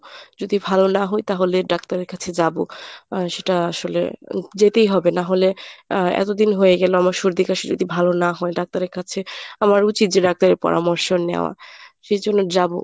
যদি ভালো না হই তাহলে doctor এর কাছে যাবো আহ সেটা আসলে যেতেই হবে নাহলে আহ এতদিন হয়ে গেল আমার সর্দি কাশি ‍যদি ভালো না হয় doctor এর কাছে আমার উচিত যে doctor এর পরামর্শ নেওয়া সেজন্য যাবো।